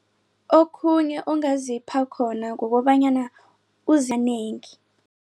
Okhunye ongazipheka khona kukobanyana uzinengi.